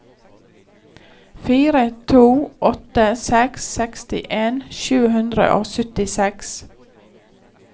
fire to åtte seks sekstien sju hundre og syttiseks